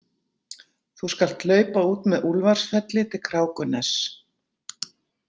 Þú skalt hlaupa út með Úlfarsfelli til Krákuness.